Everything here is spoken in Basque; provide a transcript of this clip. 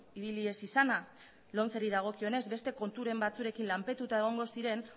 ibili ez izana lomceri dagokionez beste konturen batzuekin lanpetuta egongo ziren